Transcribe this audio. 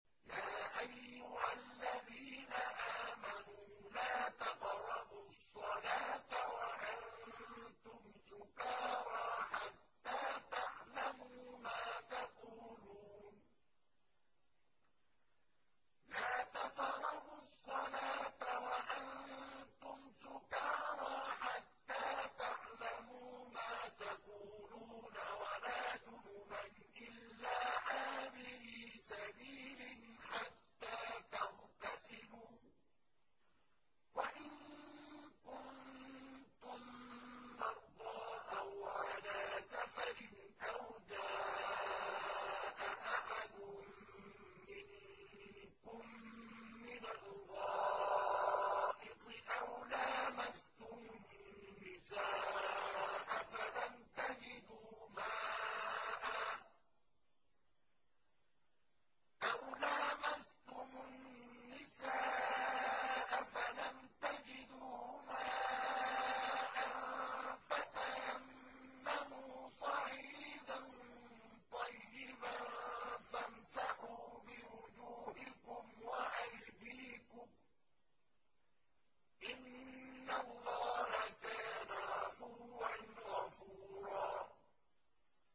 يَا أَيُّهَا الَّذِينَ آمَنُوا لَا تَقْرَبُوا الصَّلَاةَ وَأَنتُمْ سُكَارَىٰ حَتَّىٰ تَعْلَمُوا مَا تَقُولُونَ وَلَا جُنُبًا إِلَّا عَابِرِي سَبِيلٍ حَتَّىٰ تَغْتَسِلُوا ۚ وَإِن كُنتُم مَّرْضَىٰ أَوْ عَلَىٰ سَفَرٍ أَوْ جَاءَ أَحَدٌ مِّنكُم مِّنَ الْغَائِطِ أَوْ لَامَسْتُمُ النِّسَاءَ فَلَمْ تَجِدُوا مَاءً فَتَيَمَّمُوا صَعِيدًا طَيِّبًا فَامْسَحُوا بِوُجُوهِكُمْ وَأَيْدِيكُمْ ۗ إِنَّ اللَّهَ كَانَ عَفُوًّا غَفُورًا